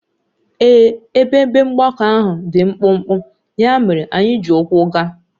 Ee, ebe ebe mgbakọ ahụ dị mkpụmkpụ, ya mere anyị ji ụkwụ gaa